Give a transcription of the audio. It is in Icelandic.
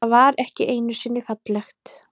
Það var ekki einusinni fallegt.